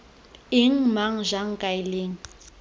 eng mang jang kae leng